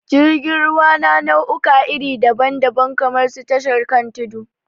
Jirgin ruwa na na'uka iri dabam dabam kamar su tashar kan tudu